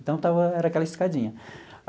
Então, era aquela escadinha.